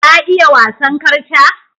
Ka iya wasan karta?